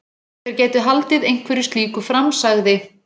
Þeir gætu haldið einhverju slíku fram- sagði